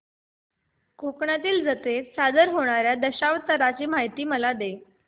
कोकणातील जत्रेत सादर होणार्या दशावताराची मला माहिती दे